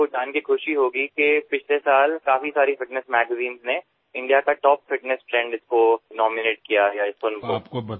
আৰু আপুনি জানি সুখী হব যে যোৱা বছৰ বহু ফিটনেছ আলোচনীত ইয়াক ভাৰতৰ শীৰ্ষৰ ফিটনেছ ট্ৰেণ্ড হিচাপে মনোনীত কৰা হল এই ধেমালিটোক